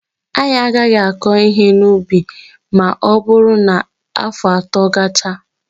Anyị agaghị akọ ihe n'ubi a ma ọ bụrụ na afọ atọ gachaa.